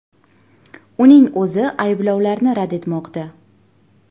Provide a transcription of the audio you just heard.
Uning o‘zi bu ayblovlarni rad etmoqda.